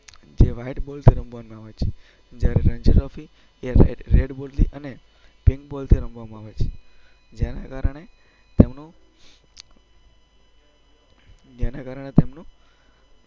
જે વ્હાઈટ બોલથી રમવામાં આવે છે, જ્યારે રણજી ટ્રોફી એ રેડ બોલથી અને પિન્ક બોલથી રમવામાં આવે છે. જેના કારણે જેના કારણે તેમનું